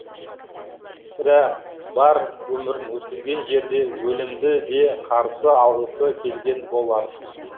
сірә бар өмірін өткізген жерде өлімді де қарсы алғысы келген болар